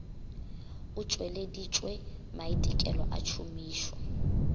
o tšweleditšwe maitekelo a tšhomišo